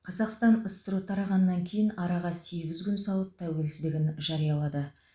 қазақстан ссро тарағаннан кейін араға сегіз күн салып тәуелсіздігін жариялады